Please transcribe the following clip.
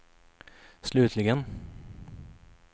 slutligen